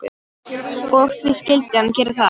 Og því skyldi hann gera það.